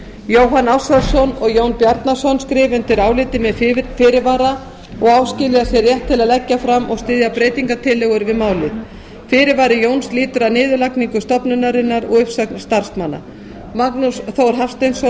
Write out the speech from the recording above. jóhann ársælsson og jón bjarnason skrifa undir álitið með fyrirvara og áskilja sér rétt til að leggja fram og styðja breytingartillögur við málið fyrirvari jóns lýtur að niðurlagningu stofnunarinnar og uppsögn starfsmanna magnús þór hafsteinsson